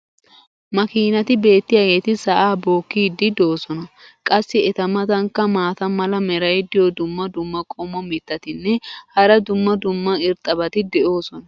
makiinati beetiyaageeti sa"aa bookiidi doosona. qassi eta matankka maata mala meray diyo dumma dumma qommo mitattinne hara dumma dumma irxxabati de'oosona.